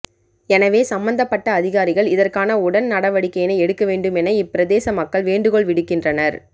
எனவே சம்பந்தப்பட்ட அதிகாரிகள் இதற்கான உடன் நடவடிக்கையினை எடுக்க வேண்டும் என இப்பிரதேச மக்கள் வேண்டுகோள் விடுக்கின்றனர்